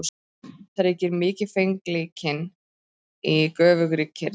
Þar ríkir mikilfengleikinn í göfugri kyrrð.